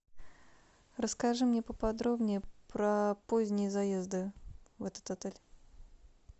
расскажи мне поподробнее про поздние заезды в этот отель